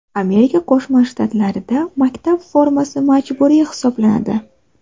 Amerika Qo‘shma Shtatlarida maktab formasi majburiy hisoblanadi.